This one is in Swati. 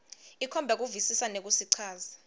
ikhomba kuvisisa nekusichaza